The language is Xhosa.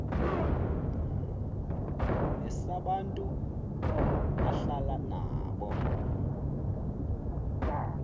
nesabantu ahlala nabo